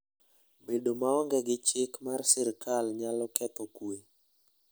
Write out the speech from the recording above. Bedo maonge gi chik mar sirkal nyalo ketho kuwe.